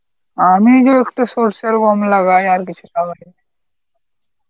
আমি তো একটু সরষে আর গম লাগাই, আর কিছু লাগাই না.